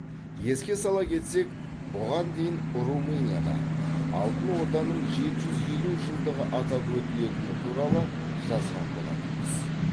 еске сала кетсек бұған дейін румынияда алтын орданың жеті жүз елу жылдығы атап өтілетіні туралы жазған болатынбыз